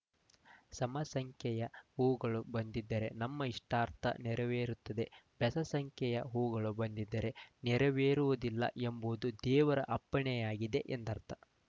ಸಮ ಸಂಖ್ಯೆಯ ಹೂವುಗಳು ಬಂದಿದ್ದರೆ ನಮ್ಮ ಇಷ್ಟಾರ್ಥ ನೆರವೇರುತ್ತದೆ ಬೆಸ ಸಂಖ್ಯೆಯ ಹೂವುಗಳು ಬಂದಿದ್ದರೆ ನೆರವೇರುವುದಿಲ್ಲ ಎಂಬುವುದು ದೇವರ ಅಪ್ಪಣೆಯಾಗಿದೆ ಎಂದರ್ಥ